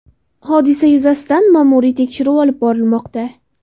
Hodisa yuzasidan ma’muriy tekshiruv olib borilmoqda.